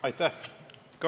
Aitäh!